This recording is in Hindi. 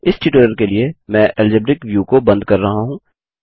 इस ट्यूटोरियल के लिए मैं एल्जेब्रिक व्यू को बंद कर रहा हूँ